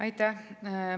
Aitäh!